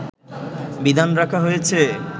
বিধান রাখা হয়েছে